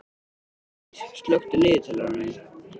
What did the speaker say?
Borgdís, slökktu á niðurteljaranum.